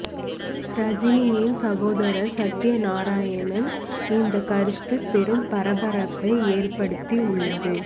ரஜினியின் சகோதரர் சத்யநாராயணன் இந்த கருத்து பெரும் பரபரப்பை ஏற்படுத்தி உள்ளது